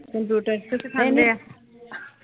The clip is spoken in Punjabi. ਕੰਪਿਊਟਰ ਇਥੇ ਸਿਖਾਂਦੇ ਆ